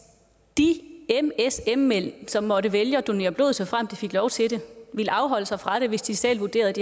de msm som måtte vælge at donere blod såfremt de fik lov til det ville afholde sig fra det hvis de selv vurderede